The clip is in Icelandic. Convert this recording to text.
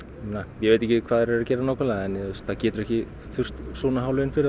ég veit ekki hvað þau eru að gera nákvæmlega en það getur ekki þurft svona há laun fyrir